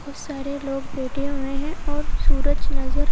बहुत सारे लोग बैठे हुए हैं और सूरज नज़र--